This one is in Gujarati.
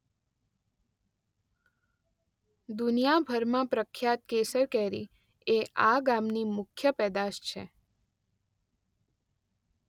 દુનીયાભરમાં પ્રખ્યાત કેસર કેરી એ આ ગામની મુખ્ય પેદાશ છે.